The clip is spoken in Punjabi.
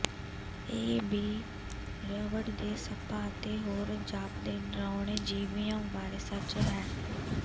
ਇਹ ਵੀ ਰਬੜ ਦੇ ਸੱਪਾਂ ਅਤੇ ਹੋਰ ਜਾਪਦੇ ਡਰਾਉਣੇ ਜੀਵਿਆਂ ਬਾਰੇ ਸੱਚ ਹੈ